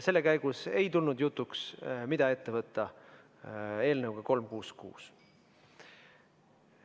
Selle käigus ei tulnud jutuks, mida võtta ette eelnõuga 366.